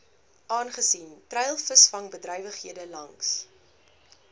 aangesien treilvisvangbedrywighede langs